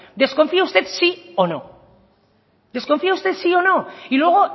desconfía usted sí o no desconfía usted sí o no y luego